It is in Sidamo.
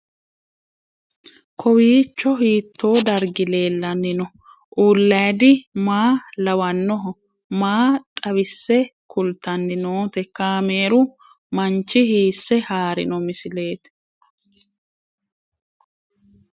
Kowiicho hiito dargi leellanni no ? ulayidi maa lawannoho ? maa xawisse kultanni noote ? kaameru manchi hiisse haarino misileeti?